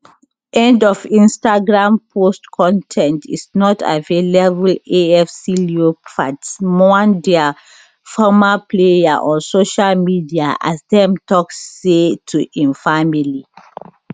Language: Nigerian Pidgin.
end of instagram post con ten t is not available afc leopards mourn dia former player on social media as dem tok sorry to im family